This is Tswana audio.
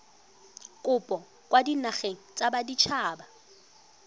kopo kwa dinageng tsa baditshaba